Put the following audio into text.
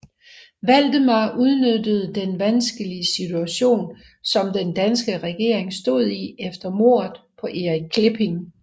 Valdemar udnyttede den vanskelige situation som den danske regering stod i efter mordet på Erik Klipping